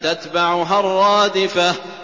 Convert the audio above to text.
تَتْبَعُهَا الرَّادِفَةُ